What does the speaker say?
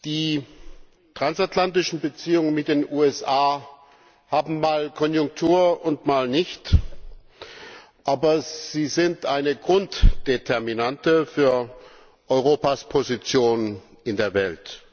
Die transatlantischen Beziehungen mit den USA haben mal Konjunktur und mal nicht, aber sie sind eine Grunddeterminante für Europas Position in der Welt.